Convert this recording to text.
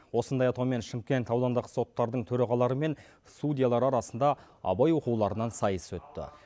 осындай атаумен шымкент аудандық соттардың төрағалары мен судьялар арасында абай оқуларынан сайыс өтті